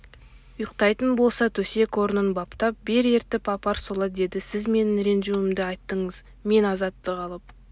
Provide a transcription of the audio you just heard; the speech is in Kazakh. ұйықтайтын болса төсек-орнын баптап бер ертіп апар солай деді сіз менің ренжімеуімді айттыңыз мен азаттық алып